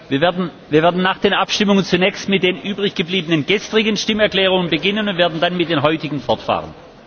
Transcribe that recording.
Wir werden nach den Abstimmungen zunächst mit den übriggebliebenen gestrigen Stimmerklärungen beginnen und werden dann mit den heutigen fortfahren.